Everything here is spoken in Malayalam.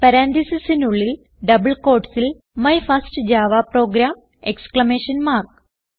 പരാൻതീസിസിനുള്ളിൽ ഡബിൾ quotesൽ my first Java program exclamation mark